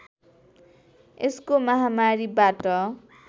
यसको महामारीबाट